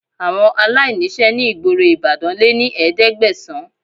Àwọn aláìníṣẹ́ ní gboro Ìbàdàn lé ní ẹ̀ẹ́dẹ́gbẹ̀sán